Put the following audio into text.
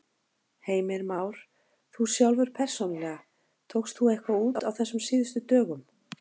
Heimir Már: Þú sjálfur persónulega, tókst þú eitthvað út á þessum síðustu dögum?